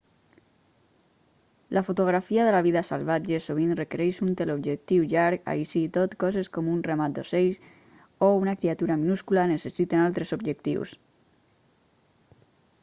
la fotografia de la vida salvatge sovint requereix un teleobjectiu llarg així i tot coses com un ramat d'ocells o una criatura minúscula necessiten altres objectius